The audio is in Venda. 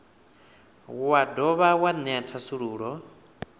wa dovha wa ṅea thasululo